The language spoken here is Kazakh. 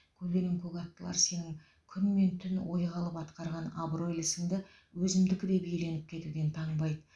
көленің көк аттылар сенің күн мен түн ойға алып атқарған абыройлы ісіңді өзімдікі деп иеленіп кетуден таңбайды